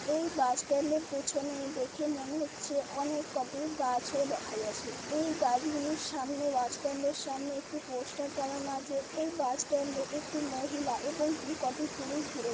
এই বাস স্ট্যান্ডের পেছনে দেখে মনে হচ্ছে অনেক কটি গাছও দেখা যাছে। এই গাছগুলি সামনে বাস স্ট্যান্ডের সামনে একটি পোস্টার টানানো আছে। এই বাস স্ট্যান্ডে একটি মহিলা এবং কি কটি পুরুষ ঘুরে--